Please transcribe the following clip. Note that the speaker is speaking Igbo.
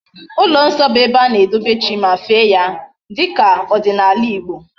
Ulo nso bu ebe ana edobe chi ma fee ya dika odinala Igbo